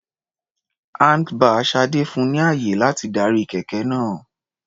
Handlebar Sade fun ni ààyè láti darí kẹ̀kẹ́ náà.